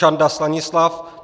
Čanda Stanislav